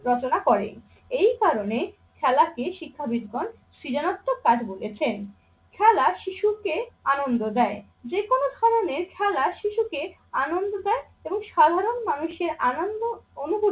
রচনা করে। এই কারণে খেলাকে শিক্ষাবিদগণ সৃজনত কাজ বলেছেন। খেলা শিশুকে আনন্দ দেয়, যে কোনো ধরনের খেলা শিশুকে আনন্দ দেয় এবং সাধারণ মানুষের আনন্দ অনুভূতি